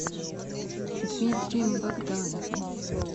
дмитрием богдановым